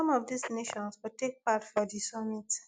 some of dis nations go take part for di summit